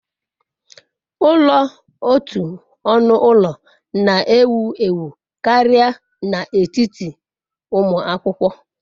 Ulo otu onu ulo na-ewu ewu karịa n'etiti ụmụ akwụkwọ.